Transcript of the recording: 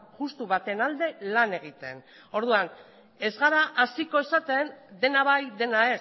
justu baten alde lan egiten orduan ez gara hasiko esaten dena bai dena